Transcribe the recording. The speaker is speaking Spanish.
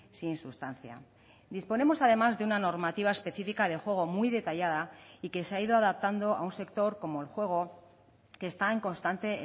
sin sustancia disponemos además de una normativa específica de juego muy detallada y que se ha ido adaptando a un sector como el juego que está en constante